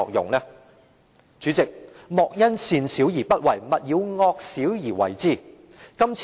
代理主席，"莫因善小而不為，勿以惡小而為之"。